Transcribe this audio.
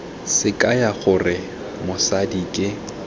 se kaya gore mosadi ke